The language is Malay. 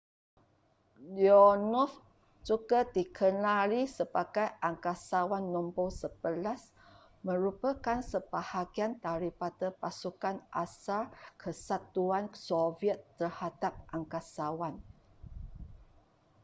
leonov juga dikenali sebagai angkasawan no 11 merupakan sebahagian daripada pasukan asal kesatuan soviet terhadap angkasawan